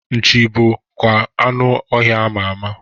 Nchi bụ bụkwa anụ ọhịa ama ama